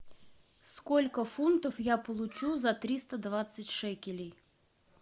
сколько фунтов я получу за триста двадцать шекелей